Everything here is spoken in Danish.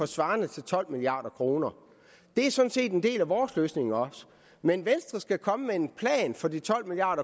svarende til tolv milliard kroner det er sådan set en del af vores løsning også men venstre skal komme med en plan for de tolv milliard